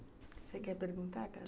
Você quer perguntar agora?